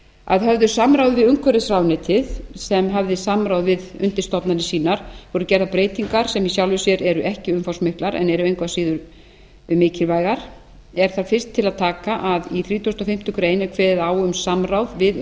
að höfðu samráði við umhverfisráðuneytið sem hafði samráð við undirstofnanir sínar voru gerðar breytingar sem í sjálfu sér eru ekki umfangsmiklar en eru engu að síður mikilvægar er þar fyrst til að taka að í þrítugasta og fimmtu grein er kveðið á um samráð við